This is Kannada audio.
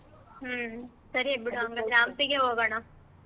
ಹ್ಮ್ ಸರಿ ಆಯ್ತ್ ಬಿಡು ಹಂಗಾದ್ರೆ ಹಂಪಿಗೆ ಹೋಗೋಣ.